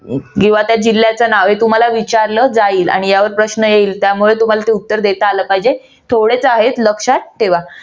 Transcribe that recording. आता जिल्ह्याचं नाव हे तुम्हाला विचारल्या जाईल यावर प्रश्न येईल त्यावर तुम्हाला उत्तर देता आलं पाहिजे. थोडेसे आहे. लक्षात ठेवा.